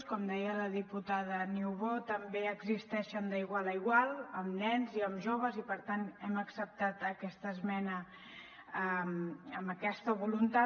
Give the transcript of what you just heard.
com deia la diputada niubó també existeixen d’igual a igual amb nens i amb joves i per tant hem acceptat aquesta esmena amb aquesta voluntat